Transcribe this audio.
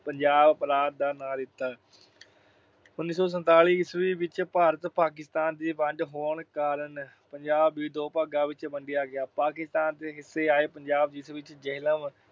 ਪੰਜਾਬ ਪ੍ਰਾਂਤ ਦਾ ਨਾਂ ਦਿੱਤਾ। ਉਨੀ ਸੌ ਸੰਤਾਲੀ ਈਸਵੀ ਵਿਚ ਭਾਰਤ-ਪਾਕਿਸਤਾਨ ਦੀ ਵੰਡ ਹੋਣ ਕਾਰਨ ਪੰਜਾਬ ਵੀ ਦੋ ਭਾਗਾਂ ਵਿਚ ਵੰਡਿਆ ਗਿਆ। ਪਾਕਿਸਤਾਨ ਦੇ ਹਿੱਸੇ ਆਏ ਪੰਜਾਬ ਜਿਸ ਵਿਚ ਜੇਹਲਮ,